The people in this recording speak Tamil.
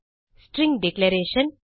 string declaration